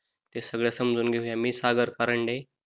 ते सगळ समजून घेऊया मी सागर करंडे